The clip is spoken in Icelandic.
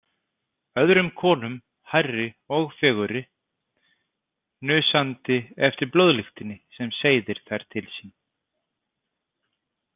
Öðrum konum hærri og fegurri, hnusandi eftir blóðlyktinni sem seiðir þær til sín.